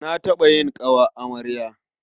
Na taɓa yin ƙawar amarya.